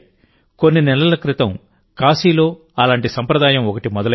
కొన్ని నెలల క్రితం కాశీలో అలాంటి సంప్రదాయం ఒకటి మొదలైంది